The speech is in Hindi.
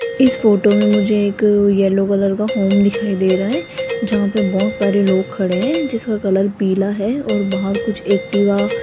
इस फोटो में मुझे एक येलो कलर का होम दिखाई दे रहा है जहां पे बहोत सारे लोग खड़े हैं जिसका कलर पीला है और बाहर कुछ एक्टिवा --